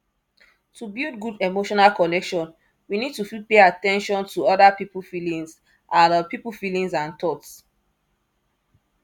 to build good emotional connection we need to fit pay at ten tion to ada pipo feelingds and pipo feelingds and thoughts